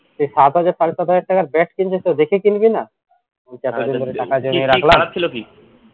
এই এই সাত হাজার সাড়ে সাত হাজার টাকার bat কিনছিস তো দেখে কিনবি না